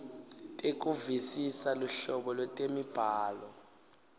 tekuvisisa luhlobo lwetemibhalo